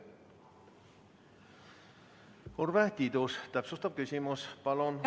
Urve Tiidus, täpsustav küsimus, palun!